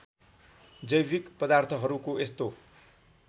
जैविक पदार्थहरूको यस्तो